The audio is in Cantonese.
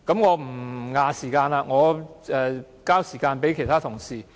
我不佔用議會的時間了，我把時間交給其他同事。